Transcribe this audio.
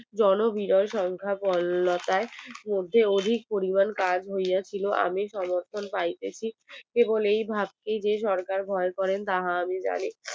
জন বিরল সংখ্যা গরলতার মধ্যে অধিক পরিমান কাজ হইয়াছিল আমি সমর্থন কারীদের কেবল এই ভাবছি যে সরকার ভয় করেন তাহা উনি জানে